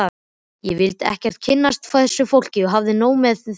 Ég vildi ekkert kynnast þessu fólki, hafði nóg með mig.